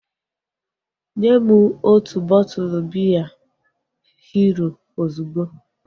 Nyem otu bọtụlu biya Hero ozugbo!